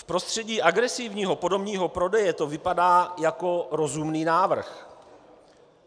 V prostředí agresivního podomního prodeje to vypadá jako rozumný návrh.